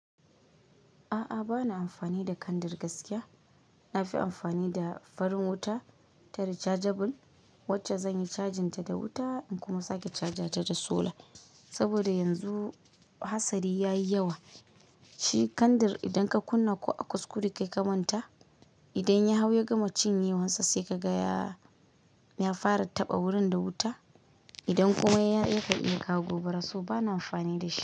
A'a, bana amfani da kandir gaskiya. Na fi amfani da farin wuta ta rechargeable wacce zan yi cajin ta da wuta in kuma sake cajin ta da sola. Saboda yanzu hatsari ya yi yawa. Shi kandir idan ka kunna ko a kuskure kai ka manta, idan ya hau ya gama cin yiwansa sai ka ga ya fara taɓa wurin da wuta. Idan kuma ya iya ku iya ka gobaraso bana amfani da shi.